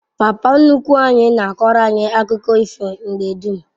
Papa nnukwu anyi na akoro anyi akuko ifo mgbe dum